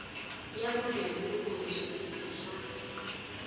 ya vugembuli kumbe switirhiso swa